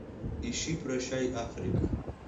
ищи прощай африка